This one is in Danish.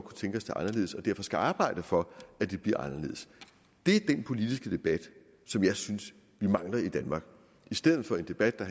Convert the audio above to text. tænke os det anderledes og derfor skal arbejde for at det bliver anderledes det er den politiske debat som jeg synes vi mangler i danmark i stedet for en debat der